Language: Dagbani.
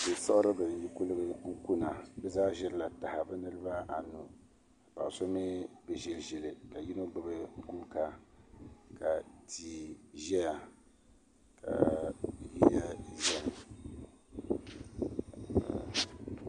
Kuli siɣiribi n yi kuligi kuna bi zaa ʒirila taha bi niraba anu ka paɣa so mii bi ƶi ʒili ka yino gbubi guuka ka tia ʒɛya ka bihi lahi ʒɛ ni